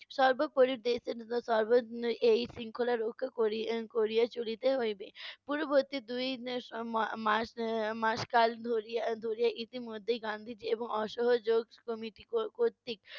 সর্বপরি এই শৃঙ্খলা রক্ষা করি~ করিয়া চলিতে হইবে। পূর্ববর্তী দুই নে~ সময় মার~ মা~ মাস কাল ধরিয়া ধরিয়া ইতিমধ্যে গান্ধিজি এবং অসহযোগ ক~ কর্তৃক